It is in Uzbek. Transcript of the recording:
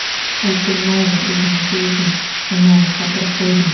Hokim mayli, o‘zingchi o‘zing, nimani qotirib qo‘yding?